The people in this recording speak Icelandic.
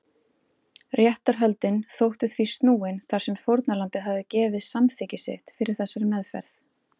Réttarhöldin þóttu því snúin þar sem fórnarlambið hafði gefið samþykki sitt fyrir þessari meðferð.